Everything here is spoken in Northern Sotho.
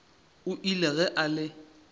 o ile ge a le